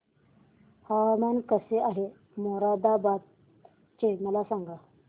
हवामान कसे आहे मोरादाबाद चे मला सांगा